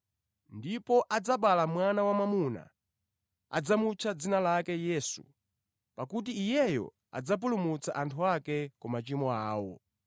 Ndipo adzabala mwana wamwamuna, udzamutcha dzina lake Yesu; pakuti Iyeyo adzapulumutsa anthu ake ku machimo awo.”